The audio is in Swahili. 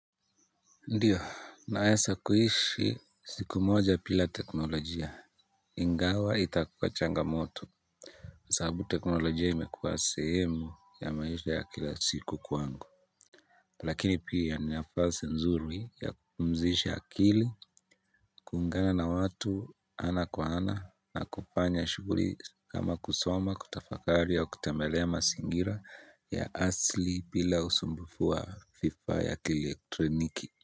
Ndio naweza kuishi siku moja bila teknolojia ingawa itakuwa changamoto sababu teknolojia imekuwa sehemu ya maisha ya kila siku kwangu lakini pia ni nafasi nzuri ya kupumzisha akili kuungana na watu ana kwa ana na kufanya shughuli kama kusoma kutafakari au kutembelea mazingira ya asili bila usumbufu wa fifa ya kieletroniki. Kwa hivyo.